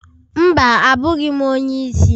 Mba, abụghị m onye isi.